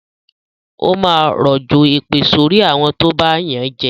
Ó máa rọ̀jọ̀ èpè sorí àwọn tó bá yànjẹ